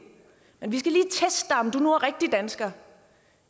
men vi teste dig om du nu er rigtig dansker